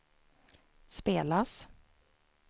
spelas